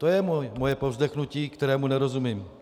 To je moje povzdechnutí, kterému nerozumím.